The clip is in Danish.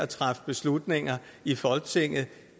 træffe beslutninger i folketinget